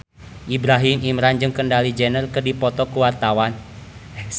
Ibrahim Imran jeung Kendall Jenner keur dipoto ku wartawan